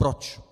Proč?